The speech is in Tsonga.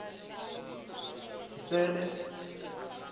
nsele